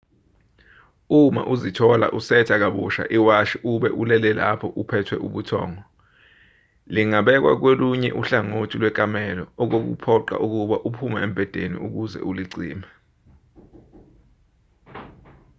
uma uzithola usetha kabusha iwashi ube ulele lapho uphethwe ubuthongo lingabekwa kolunye uhlangothi lwekamelo okukuphoqa ukuba uphume embhedeni ukuze ulicime